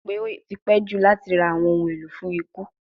Ṣe o ko ro pe o ti pẹ ju lati ra awọn ohun elo fun iku?